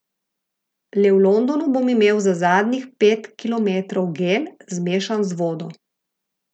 Le v Londonu bom imel za zadnjih pet kilometrov gel, zmešan z vodo.